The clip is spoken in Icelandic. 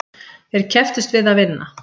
Þeir kepptust við að vinna.